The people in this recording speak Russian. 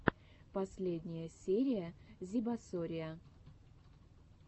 последняя серия зебасориа